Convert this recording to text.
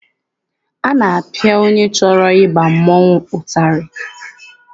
A na-apịa onye chọrọ ịba mmọnwụ ụtarị.